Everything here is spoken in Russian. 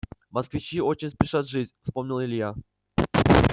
москвичи очень спешат жить вспомнил илья